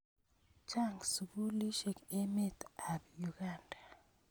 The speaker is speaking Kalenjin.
Chang' sukulisyek emet ap Uganda.